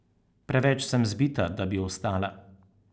Preveč sem zbita, da bi vstala.